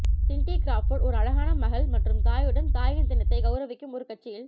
Cindy Crawford ஒரு அழகான மகள் மற்றும் தாயுடன் தாயின் தினத்தைக் கௌரவிக்கும் ஒரு கட்சியில்